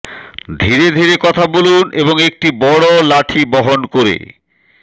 ধীরে ধীরে কথা বলুন এবং একটি বড় লাঠি বহন করে